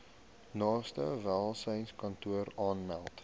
naaste welsynskantoor aanmeld